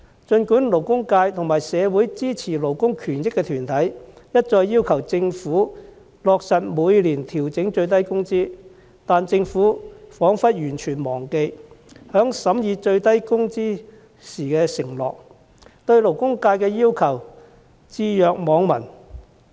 儘管勞工界和社會支持勞工權益的團體一再要求政府落實每年調整最低工資，但政府彷彿完全忘記在審議最低工資時的承諾，對勞工界的要求置若罔聞。